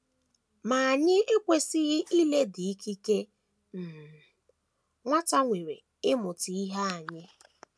Ma anyị ekwesịghị ileda ikike um nwata nwere ịmụta ihe anya.